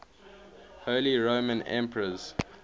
holy roman emperors